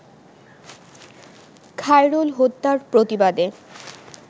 খায়রুল হত্যার প্রতিবাদে